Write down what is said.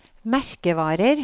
merkevarer